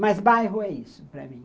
Mas bairro é isso para mim.